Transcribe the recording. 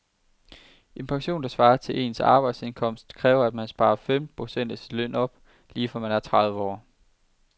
En pension, der svarer til ens arbejdsindkomst, kræver at man sparer femten procent af sin løn op lige fra man er tredive år.